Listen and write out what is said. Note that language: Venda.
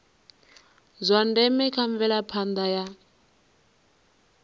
zwa ndeme kha mvelaphanda ya